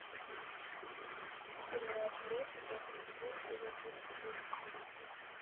сериал отбросы пятый сезон серия тридцать восемь